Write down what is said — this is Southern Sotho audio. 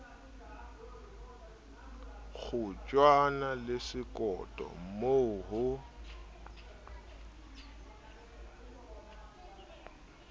kgotjwane le sekoto mmo ho